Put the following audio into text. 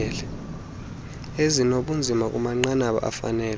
ezinobunzima kumanqanaba afanele